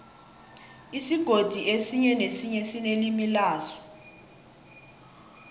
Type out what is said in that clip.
isigodi esinye nesinye sinelimi laso